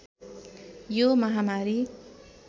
यो महामारी